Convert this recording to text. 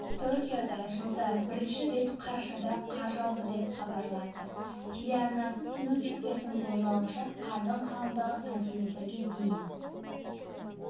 токиода жылда бірінші рет қарашада қар жауды деп хабарлайды телеарнасы синоптиктердің болжауынша қардың қалыңдығы сантиметрге дейін